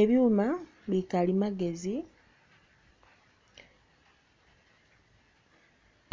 Ebyuma bikalimagezi,